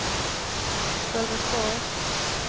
Sölvesborg